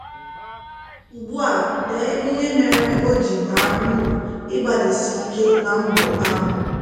Ugbu a dee ihe mere o ji baa uru ịgbalịsike na mbọ ahụ.